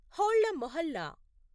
హోళ్ల మొహల్లా